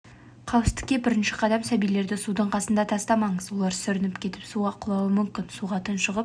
қауіпсіздікке бірінші қадам сәбилерді судың қасында тастамаңыз олар сүрініп кетіп суға құлауы мүмкін суға тұншығып